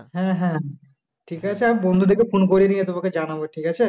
হ্যা হ্যা ঠিকাছে আমি বন্ধুদেরকে phone করে নিয়ে তোমাকে জানাবো ঠিকাছে